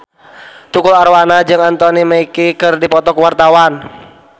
Tukul Arwana jeung Anthony Mackie keur dipoto ku wartawan